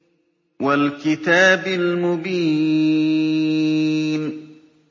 وَالْكِتَابِ الْمُبِينِ